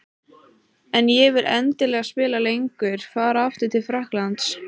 En ég vil endilega spila lengur. Fara aftur til Frakklands?